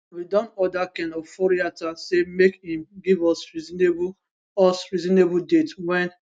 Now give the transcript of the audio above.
we don order ken oforiatta say make im give us reasonable us reasonable date wen